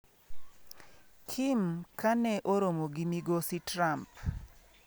Kim ka ne oromo gi Migosi Trump